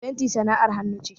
Fenti sana'ar hannu ce.